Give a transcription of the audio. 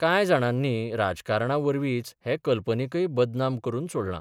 कांय जाणांनी राजकारणावरीच हे संकल्पनेकय बदनाम करून सोडलां.